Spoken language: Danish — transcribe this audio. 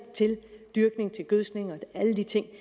til dyrkning til gødskning og alle de ting